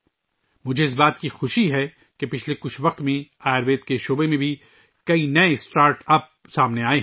مجھے بہت خوشی ہے کہ پچھلے کچھ سالوں میں آیوروید کے میدان میں بہت سے نئے اسٹارٹ اپس ابھرے ہیں